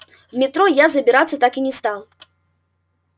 в метро я забираться так и не стал